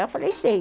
Eu falei, sei.